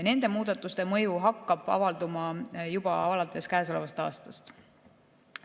Nende muudatuste mõju hakkab avalduma juba alates käesolevast aastast.